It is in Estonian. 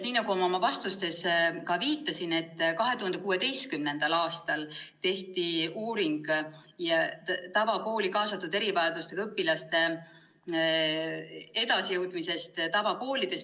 Nii nagu ma oma vastustes viitasin, tehti 2016. aastal uuring erivajadustega õpilaste edasijõudmise kohta tavakoolis.